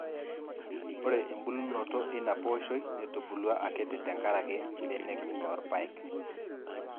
Ore embulunoto eina pooshoi netubulua akiti tenkaraki mbenek oo irpaek.